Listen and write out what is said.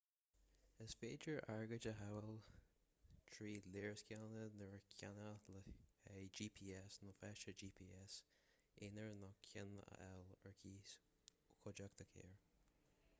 is féidir airgead a shábháil trí léarscáileanna nua a cheannach le haghaidh gps nó feiste gps aonair nó ceann a fháil ar cíos ó chuideachta carr